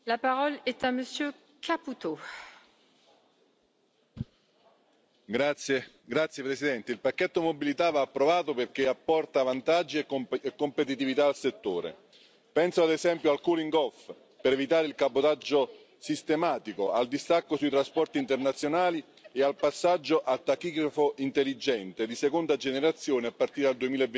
Signora Presidente, onorevoli colleghi, il pacchetto Mobilità va approvato perché apporta vantaggi e competitività al settore. Penso, ad esempio, al cooling off per evitare il cabotaggio sistematico, al distacco sui trasporti internazionali e al passaggio al tachigrafo intelligente di seconda generazione a partire dal